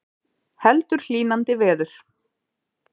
Heldur hlýnandi veður